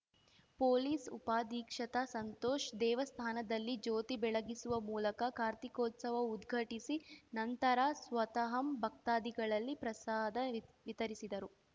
police ಉಪಾಧೀಕ್ಷತ ಸಂತೋಷ್‌ ದೇವಸ್ಥಾನದಲ್ಲಿ ಜ್ಯೋತಿ ಬೆಳಗಿಸುವ ಮೂಲಕ ಕಾರ್ತಿಕೋತ್ಸವ ಉದ್ಘಟಿಸಿ ನಂತರ ಸ್ವತಃ ಭಕ್ತಾದಿಗಳಲ್ಲಿ ಪ್ರಸಾದ ವಿತರಿಸಿದರು